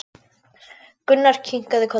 Gunnar kinkaði kolli.